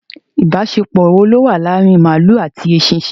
Ibasepo wo lo wa laari maalu ati esisin